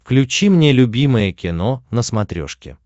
включи мне любимое кино на смотрешке